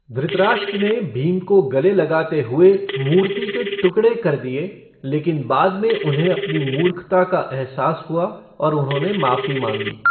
धृतराष्ट्र ने भीम को गले लगाते हुए मूर्ति के टुकड़े कर दिए, लेकिन बाद में उन्हें अपनी मूर्खता का एहसास हुआ और उन्होंने माफ़ी माँगी।